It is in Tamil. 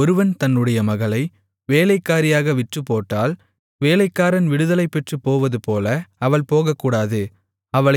ஒருவன் தன்னுடைய மகளை வேலைக்காரியாக விற்றுப்போட்டால் வேலைக்காரன் விடுதலைபெற்றுப் போவதுபோல அவள் போகக்கூடாது